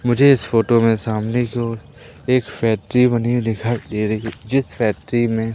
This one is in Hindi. मुझे इस फोटो में सामने की ओर एक फैक्ट्री बनी हुई दिखाई दे रही है जिस फैक्ट्री में--